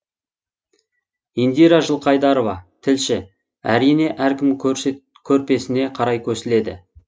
индира жылқайдарова тілші әрине әркім көрпесіне қарай көсіледі